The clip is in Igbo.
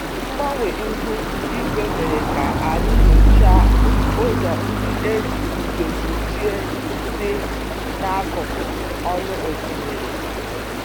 Mgbanwe ihu igwe mere ka anyị nyochaa ụzọ ndị e ji ndo kpuchie dị n'akụkụ ọnụ osimiri